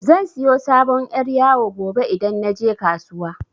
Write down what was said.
Zan siyo sabon yar' yawo gobe idan naje kasuwa.